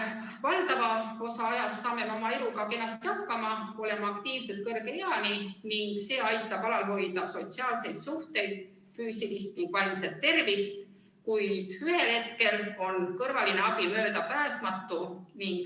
Valdava osa ajast saame me oma eluga kenasti hakkama, oleme aktiivsed kõrge eani, ning see aitab alal hoida sotsiaalseid suhteid, samuti füüsilist ja vaimset tervist, kuid ühel hetkel on kõrvaline abi möödapääsmatu.